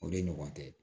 O de ɲɔgɔn tɛ